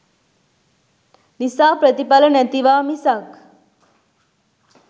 නිසා ප්‍රතිඵල නැතිවා මිසක්